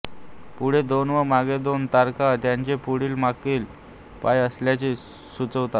पुढे दोन व मागे दोन तारका त्याचे पुढील व मागील पाय असल्याचे सुचवितात